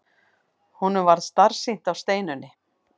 Honum varð starsýnt á Steinunni.